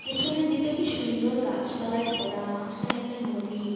পিছনের দিকটা কি সুন্দর গাছপালাই ভরা মাঝখান এ একটা নদী।